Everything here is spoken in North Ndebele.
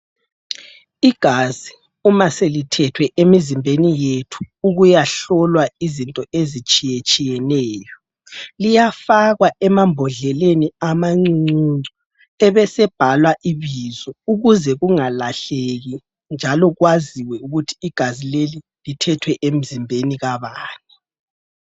Igazi uma selithethwe emizimbeni yethu ukuyahlolwa izinto ezitshiyetshiyeneyo, liyafakwa emambodleleni amancuncuncu ebesebhalwa ibizo ukuze kungalahleki njalo kwaziwe ukuthi igazi leli lithethwe emzimbeni kabani.